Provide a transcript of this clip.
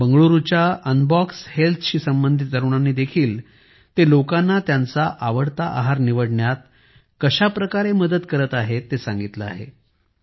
बंगळूरूच्या Unbox हेल्थशी संबंधित तरुणांनी देखील सांगितले आहे की ते लोकांना त्यांचा आवडता आहार निवडण्यात कशाप्रकारे मदत करत आहेत ते सांगितलं आहे